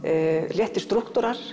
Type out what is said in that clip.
léttir